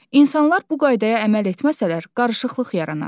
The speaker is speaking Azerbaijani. İnsanlar bu qaydaya əməl etməsələr, qarışıqlıq yaranar.